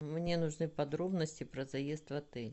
мне нужны подробности про заезд в отель